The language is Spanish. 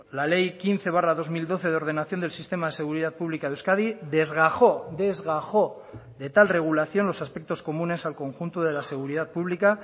la ley quince barra dos mil doce de ordenación del sistema de seguridad pública de euskadi desgajo desgajo de tal regulación los aspectos comunes al conjunto de la seguridad pública